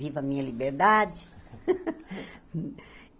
Viva a minha liberdade.